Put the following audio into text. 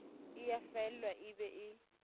e ya faelwa e be